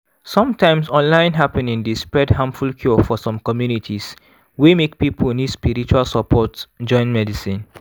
sometimes online happening dey spread harmful cure for some communities wey make people need spiritual support join medicine.